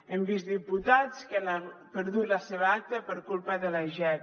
hem vist diputats que han perdut la seva acta per culpa de la jec